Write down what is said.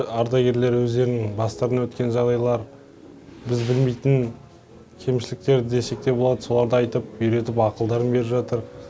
ардагерлер өздерінің бастарынан өткен жағдайлар біз білмейтін кемшіліктер десекте болады соларды айтып үйретіп ақылдарын беріп жатыр